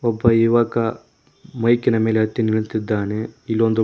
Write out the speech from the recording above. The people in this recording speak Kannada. ಒಬ್ಬ ಯುವಕ ಮೈಕಿನ ಮೇಲೆ ಹತ್ತಿ ನಿಲ್ಲುತ್ತಿದ್ದಾನೆ ಇಲ್ಲೊಂದು--